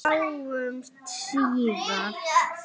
Sjáumst síðar.